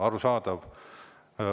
Arusaadav.